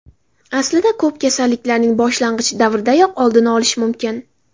Aslida ko‘p kasalliklarning boshlang‘ich davridayoq oldini olish mumkin.